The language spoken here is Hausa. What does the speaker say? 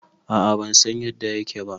A a ban san yadda yake ba